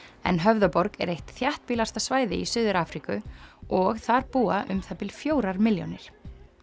en Höfðaborg er eitt þéttbýlasta svæði í Suður Afríku og þar búa um það bil fjórar milljónir